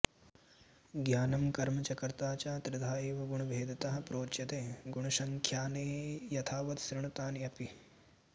ज्ञानं कर्म च कर्ता च त्रिधा एव गुणभेदतः प्रोच्यते गुणसङ्ख्याने यथावत् शृणु तानि अपि